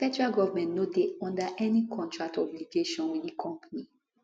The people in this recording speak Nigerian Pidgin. di federal goment no dey under any contract obligation wit di company